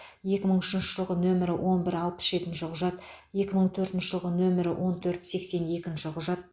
екі мың үшінші жылғы нөмірі он бір алпыс жетінші құжат екі мың төртінші жылғы нөмірі он төрт сексен екінші құжат